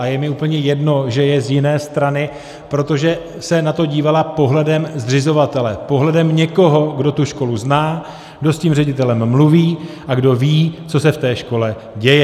A je mi úplně jedno, že je z jiné strany, protože se na to dívala pohledem zřizovatele, pohledem někoho, kdo tu školu zná, kdo s tím ředitelem mluví a kdo ví, co se v té škole děje.